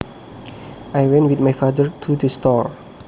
I went with my father to the store